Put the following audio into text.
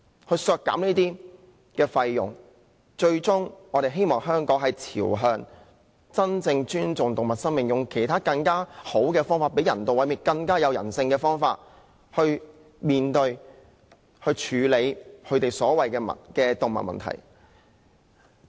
我們削減開支，是希望香港最終朝向真正尊重動物生命的方向，用更好、更有人性的方法處理所謂的動物問題。